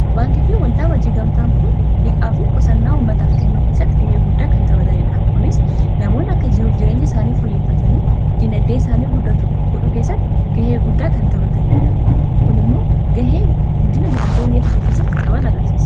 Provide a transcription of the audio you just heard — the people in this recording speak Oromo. baanki fii waldaa wajjii gamtaan kun dhiqaa fi qusannaa ummataaf kennuu keessatti gahee guddaa kan tabataniidha kunis namoonn akka jiruuf jireenya isaanii foyyiffatanii dinaddee isaanii gudhu keessatti gahee guddaa kan tabataniidha kun immoo gahee guddina dinaddee iaa tokoo keessatti qaban agarsiisa